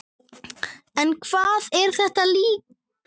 En hvað er þetta líka?